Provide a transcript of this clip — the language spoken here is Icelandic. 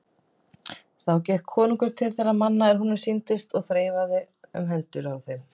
Þá gekk konungur til þeirra manna er honum sýndist og þreifaði um hendur þeim.